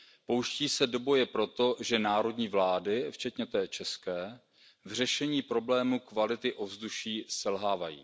Pouští se do boje proto, že národní vlády, včetně té české, v řešení problému kvality ovzduší selhávají.